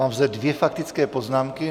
Mám zde dvě faktické poznámky.